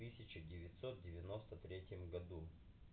в тысяча девятьсот девяносто третьем году